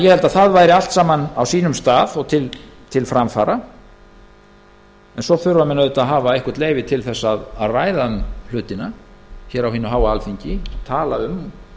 ég held að það væri allt saman á sínum stað og til framfara en svo þurfa menn auðvitað að hafa leyfi til að ræða um hlutina hér á hinu háa alþingi tala um